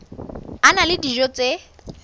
a na le dijo tse